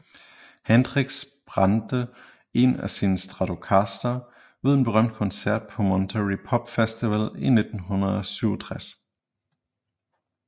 Hendrix brændte en af sine Stratocastere ved en berømt koncert på Monterey Pop Festival i 1967